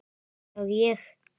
Já, ég.